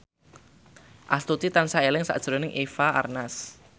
Astuti tansah eling sakjroning Eva Arnaz